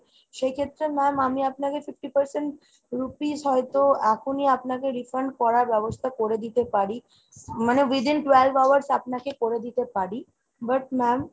সেক্ষেত্রে ma'am আমি আপনাকে fifty percent rupees হয়তো এখনই আপনাকে refund করার ব্যবস্থা করে দিতে পারি। মানে within twelve hours আপনাকে করে দিতে পারি, but ma'am